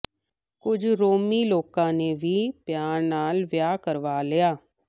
ਕੁਝ ਰੋਮੀ ਲੋਕਾਂ ਨੇ ਵੀ ਪਿਆਰ ਨਾਲ ਵਿਆਹ ਕਰਵਾ ਲਿਆ